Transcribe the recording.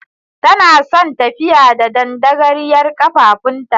Tana son tafiya da dandagaryar kafafuwanta.